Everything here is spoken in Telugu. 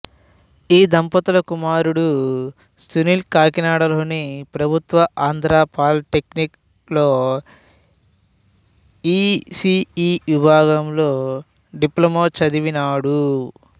ఈ దంపతుల కుమారుడు సునీల్ కాకినాడలోని ప్రభుత్వ ఆంధ్రా పాలిటెక్నిక్ లో ఇ సి ఇ విభాగంలో డిప్లమా చదివినాడు